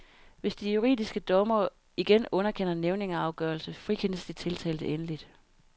Hvis de juridiske dommere igen underkender nævningeafgørelse frikendes de tiltalte endeligt.